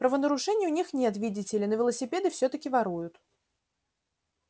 правонарушений у них нет видите ли но велосипеды всё-таки воруют